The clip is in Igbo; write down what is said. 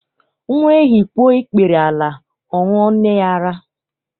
Nwa ehi kpuo ikpere ala, ọ ṅụọ nne ya ara.